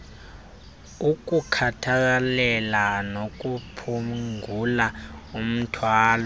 ukukhathalela nokuphungula umthwalo